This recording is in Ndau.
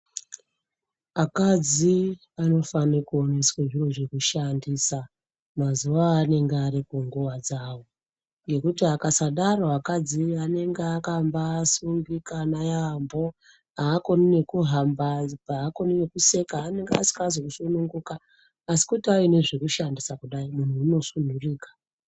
Akadzi anofane kuoneswe zviro zvekushandisa mazuwa anenge ari kunguwa dzawo, ngekuti akasadaro akadzi anenge akambasungikana yaamho akoni nekuhamba, akoni nekuseka anenge asikazi kusununguka asi kuti aine zvekushandisa kudai munhu unosununguka.